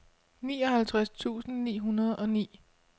nioghalvtreds tusind ni hundrede og ni